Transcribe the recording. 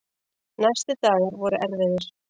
Næstu dagar voru erfiðir.